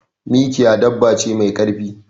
Mikiya dabba ce me karfi.